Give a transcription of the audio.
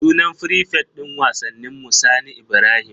Sunan frifet din wasanninmu Sani Ibrahim.